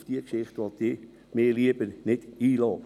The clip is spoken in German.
auf diese Geschichte will ich mich lieber nicht einlassen.